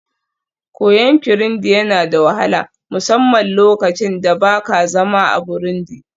koyon Kirundi yana da wahala, musamman lokacin da ba ka zama a Burundi